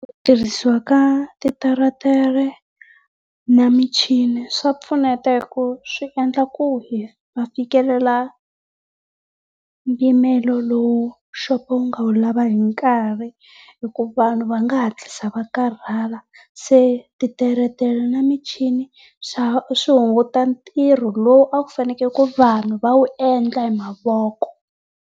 Ku tirhisiwa ka titeretere na michini swa pfuneta hi ku swi endla ku hi fikelela mpimelo lowu xopo wu nga wu lava hi nkarhi hi ku vanhu va nga hatlisa va karhala. Se titeretere na michini swa swi hunguta ntirho lowu akufaneke ku vanhu va wu endla hi mavoko.